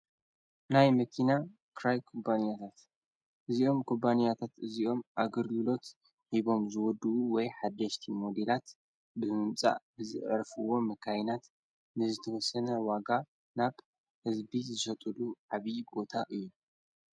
ናይ ምኪና ክራይ ኩባንያታት እዚኦም ቁባንያታት እዚኦም ኣግርግሎት ሂቦም ዝወዱዉ ወይ ሓደሽቲ ሞጌላት ብምምጻ ብዝ ዕርፍዎ መካይናት ንዝተወሰነ ዋጋ ናብ ሕዝቢ ዝሰጡዱ ዓብዪ ጐታ እዩ።